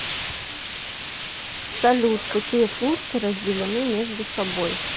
салют какие функции разделены между собой